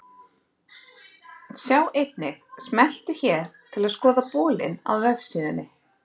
Sjá einnig: Smelltu hér til að skoða bolinn á vefsíðunni.